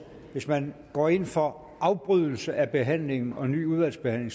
hvis man går ind for afbrydelse af behandlingen og en ny udvalgsbehandling